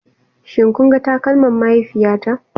Shin kun ga takalman mahaifiyata?